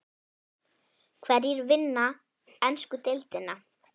Hverjir vinna ensku deildina?